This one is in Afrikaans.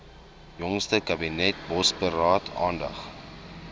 jongste kabinetsbosberaad aandag